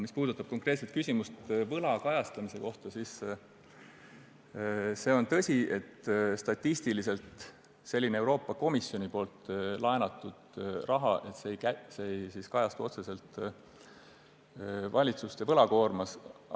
Mis puudutab konkreetset küsimust võla kajastamise kohta, siis on tõsi, et statistiliselt ei kajastu Euroopa Komisjoni laenatud raha otseselt valitsuste võlakoormas.